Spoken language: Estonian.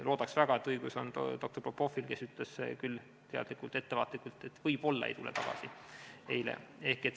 Loodaks väga, et õigus on doktor Popovil, kes ütles eile küll teadlikult ettevaatlikult, et võib-olla ei tule tagasi.